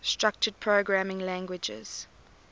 structured programming languages